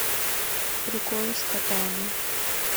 приколы с котами